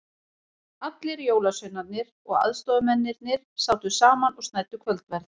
Allir jólasveinarnir og aðstoðamennirnir sátu saman og snæddu kvöldverð.